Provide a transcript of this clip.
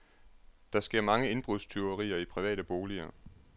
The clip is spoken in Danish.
Der sker mange indbrudstyverier i private boliger.